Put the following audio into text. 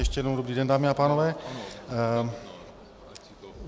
Ještě jednou dobrý den, dámy a pánové.